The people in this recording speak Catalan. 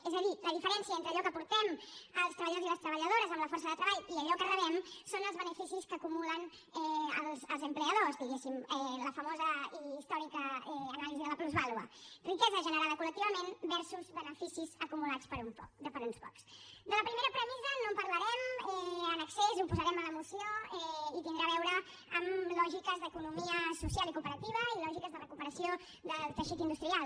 és a dir la diferència entre allò que aportem els treballadors i les treballadores amb la força de treball i allò que rebem són els beneficis que acumulen els ocupadors diguéssim la famosa i històrica anàlisi de la plusvàlua riquesa generada col·lectivament versusde la primera premissa no en parlarem en excés ho posarem en la moció i tindrà a veure amb lògiques d’economia social i cooperativa i lògiques de recuperació del teixit industrial